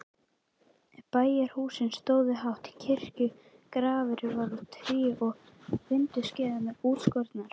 Bæjarhúsin stóðu hátt, kirkjugaflinn var úr tré og vindskeiðarnar útskornar.